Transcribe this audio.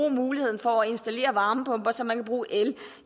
muligheden for at installere varmepumper så man kan bruge el